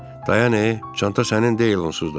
Dayan e, çanta sənin deyil onsuz da.